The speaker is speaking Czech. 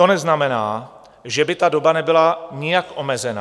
To neznamená, že by ta doba nebyla nijak omezena.